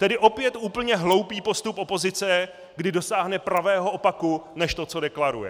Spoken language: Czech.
Tedy opět úplně hloupý postup opozice, kdy dosáhne pravého opaku než to, co deklaruje.